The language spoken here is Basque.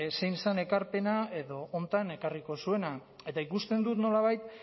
zein zen ekarpena edo honetan ekarriko zuena eta ikusten dut nolabait